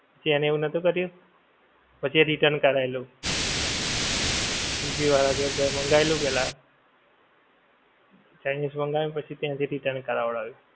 કેમ એણે એવું નોતું કર્યું? પછી એ return કરાયેલું. સ્વીગી વાળાં જોડે કાંઈ મંગાયેલું પેલ્લા, ચાઇનિજ માંગય્વુ પછી એનથી return કરાવડાવ્યું.